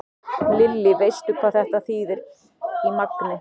Lillý: Veistu hvað þetta þýðir í magni?